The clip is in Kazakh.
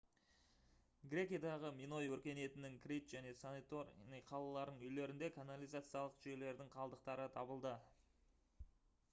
грекиядағы миной өркениетінің крит және санторини қалаларының үйлерінде канализациялық жүйелердің қалдықтары табылды